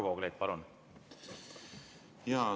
Varro Vooglaid, palun!